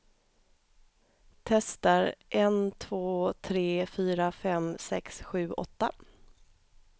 Testar en två tre fyra fem sex sju åtta.